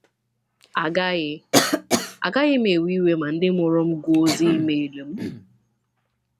“Agaghị “Agaghị m ewe iwe ma ndị mụrụ m gụọ ozi e-mail m.